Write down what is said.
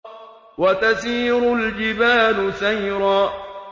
وَتَسِيرُ الْجِبَالُ سَيْرًا